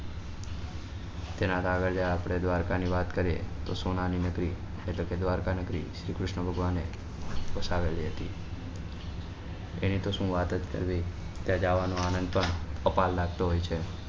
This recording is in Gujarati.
તેના આગળલ્યા આપડે દ્વારકા ની વાત કરીએ તો સોના ની નગરી એટલે કે દ્વારકા નગરી શ્રી કૃષ્ણ ભગવાન એ વસાવેલી હતી એની તો શું વાત જ કરવી ત્યાં જવા નો આનંદ પણ અપાર લાગતો હોય છે